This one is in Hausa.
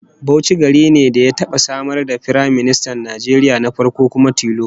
Bauchi gari ne ya taba samar da Firaministan Najeriya na farko kuma tilo